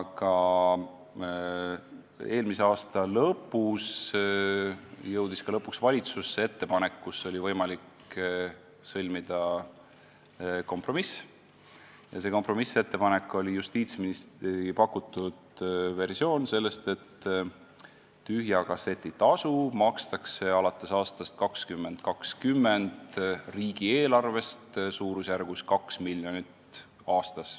Eelmise aasta lõpus jõudis viimaks valitsusse ettepanek, kus oli võimalik sõlmida kompromiss, ja see oli justiitsministri pakutud versioon, et tühja kasseti tasu makstakse alates aastast 2020 riigieelarvest suurusjärgus 2 miljonit aastas.